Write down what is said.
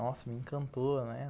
Nossa, me encantou, né?